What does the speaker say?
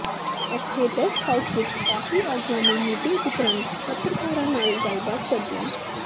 ਇੱਥੇ rest house ਵਿੱਚ party ਆਗੂਆਂ ਦੀ ਮੀਟਿੰਗ ਉਪਰੰਤ ਪੱਤਰਕਾਰਾਂ ਨਾਲ ਗੱਲਬਾਤ ਕਰਦਿਆਂ